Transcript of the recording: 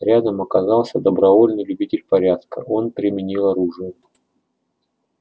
рядом оказался добровольный любитель порядка он применил оружие